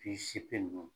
Bi seegin ninnu